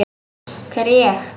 Hver er ég?